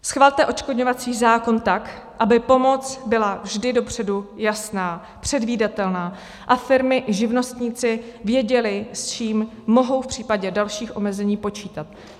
Schvalte odškodňovací zákon tak, aby pomoc byla vždy dopředu jasná, předvídatelná a firmy i živnostníci věděli, s čím mohou v případě dalších omezení, počítat.